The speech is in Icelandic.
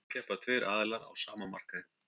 þá keppa tveir aðilar á sama markaði